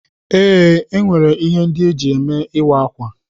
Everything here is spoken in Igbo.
Ee, enwere ihe ndị eji eme ịwa ákwà.